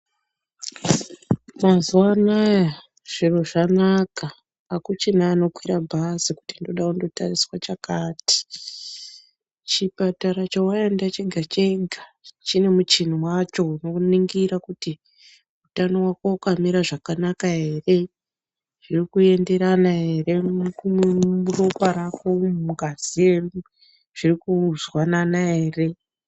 Mazuwa anaya zviro zvanaka akuchina unokwire bhazi kuti ndode kotariswe chakati chipatara chawaenda chega chega chine muchini wacho unokuningire kuti utano wako wakamire zvakanaka ere zviri kuenderana ere muropa rako umwu mungazi yedu zvirikuzwanana ere.